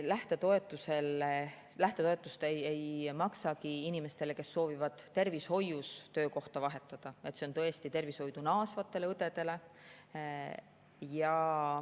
Seetõttu me lähtetoetust ei maksagi inimestele, kes soovivad tervishoius töökohta vahetada, vaid see on mõeldud tervishoidu naasvatele õdedele.